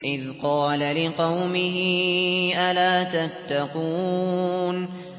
إِذْ قَالَ لِقَوْمِهِ أَلَا تَتَّقُونَ